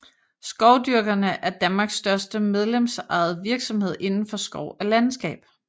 Skovdyrkerne er Danmarks største medlemsejede virksomhed inden for skov og landskab